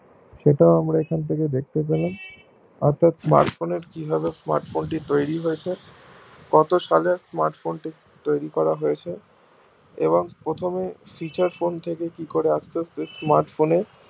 সেটাও আমরা এখন থেকে দেখতে পেলাম অর্থাৎ smart phone এর কিভাবে smart phone টি তৈরী হৈছে কত সালে smart phone টি তৈরী করা হয়েছে এবং প্রথমে featured phone থেকে আস্তে আস্তে smart phone এ